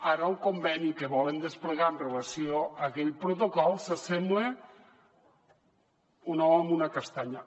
ara el conveni que volen desplegar amb relació a aquell protocol s’assembla com un ou a una castanya